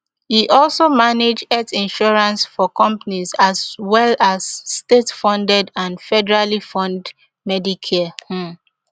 e also manage health insurance for companies as well as statefunded and federally fund medicare um